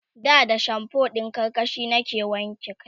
da da shamfo ɗin karkashi nake wanke kai